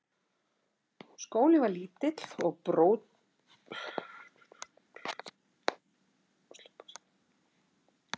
Skólinn var lítill og brautskráði um þær mundir tíu til tuttugu nemendur á ári.